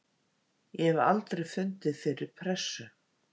Ég hef aldrei fundið fyrir pressu.